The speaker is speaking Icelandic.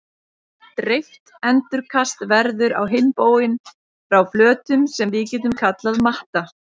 Dreift endurkast verður á hinn bóginn frá flötum sem við getum kallað matta.